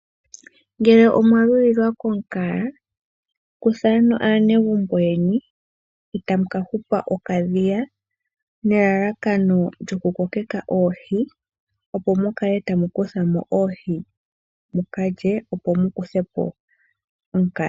Ngele omwa lulilwa komukaga kutha aanegumbo yeni etamu kahupa okadhiya nellakano lyoku kokeka oohi opo mukale tamu kutha oohi mukalye opo mukuthepo omukaga.